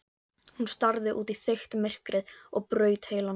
Hún starði út í þykkt myrkrið og braut heilann.